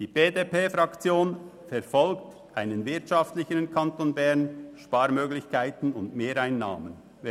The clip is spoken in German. Die BDP-Fraktion strebt einen wirtschaftlicheren Kanton Bern, Sparmöglichkeiten und Mehreinnahmen an.